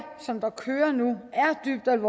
nok